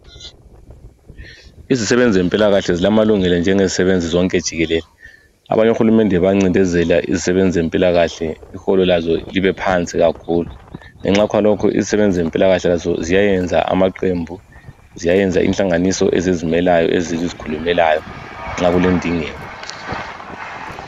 Izisebenzi zempilakahle zilamalungelo njengezisebenzi zonke jikelele. Abanye ohulumende bayancindezela izisebenzi zempilakahle, iholo lazo libe phansi kakhulu ngenxa yakhonalokho izisebenzi zempilakahle lazo ziyayenza amaqembu, ziyayenza inhlanganiso ezizimelayo, ezizikhulumelayo nxa kulendingeko.